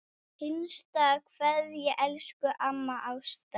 HINSTA KVEÐJA Elsku amma Ásta.